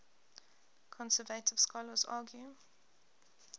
conservative scholars argue